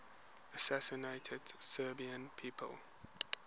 assassinated serbian people